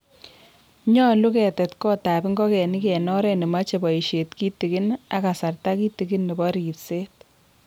nyolu ketet kotab ngogenik en oret nemachei boisiet kitigin ak kasarta kitigin nebo ripset.